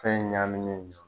Kan in ɲaaminnen ɲɔn